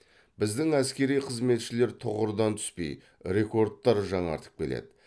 біздің әскери қызметшілер тұғырдан түспей рекордтар жаңартып келеді